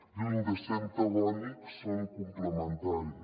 lluny de ser antagònics són complementaris